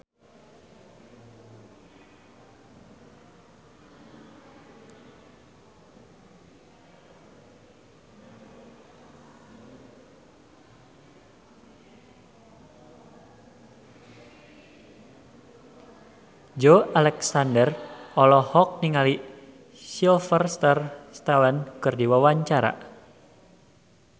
Joey Alexander olohok ningali Sylvester Stallone keur diwawancara